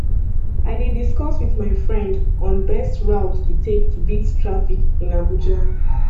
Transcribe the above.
i dey discuss with my friend on best route to take to beat traffic in abuja